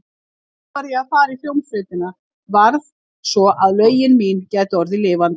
Samt varð ég að fara í hljómsveitina, varð, svo að lögin mín gætu orðið lifandi.